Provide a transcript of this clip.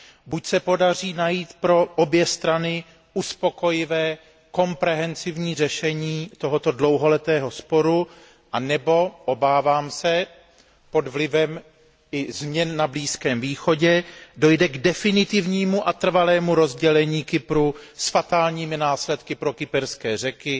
Buď se podaří najít pro obě strany uspokojivé rozumné řešení tohoto dlouholetého sporu, nebo pod vlivem změn na Blízkém východě dojde k definitivnímu a trvalému rozdělení Kypru s fatálními následky pro kyperské Řeky